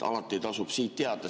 Alati tasub teada.